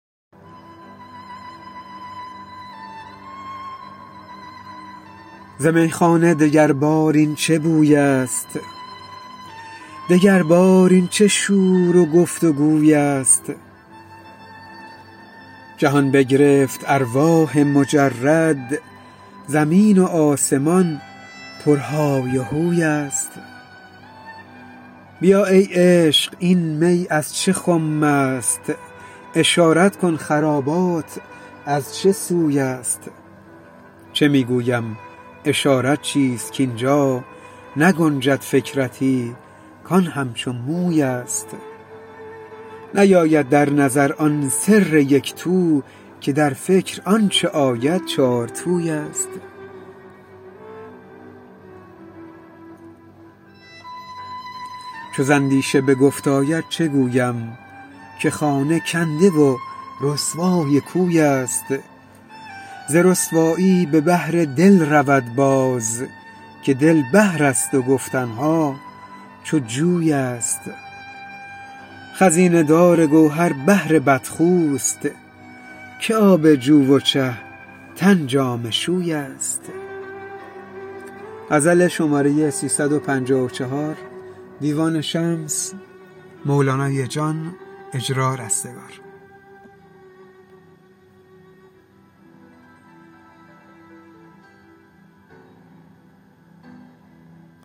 ز میخانه دگربار این چه بویست دگربار این چه شور و گفت و گویست جهان بگرفت ارواح مجرد زمین و آسمان پرهای و هوی ست بیا ای عشق این می از چه خمست اشارت کن خرابات از چه سوی ست چه می گویم اشارت چیست کاین جا نگنجد فکرتی کان همچو مویست نیاید در نظر آن سر یک تو که در فکر آنچ آید چارتویست چو ز اندیشه به گفت آید چه گویم که خانه کنده و رسوای کویست ز رسوایی به بحر دل رود باز که دل بحرست و گفتن ها چو جویست خزینه دار گوهر بحر بدخوست که آب جو و چه تن جامه شویست